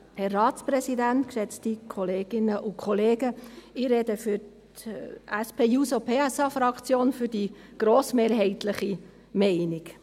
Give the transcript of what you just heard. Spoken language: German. Ich spreche für die SP-JUSO-PSA-Fraktion, mit einer grossmehrheitlich getragenen Meinung.